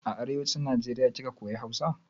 A arewacin Najeriya kika koya Hausa?